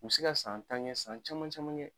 U se ka san tan ŋɛ san caman caman ŋɛ